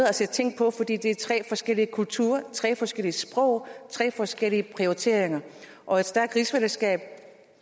at se tingene på fordi det er tre forskellige kulturer tre forskellige sprog tre forskellige prioriteringer og et stærkt rigsfællesskab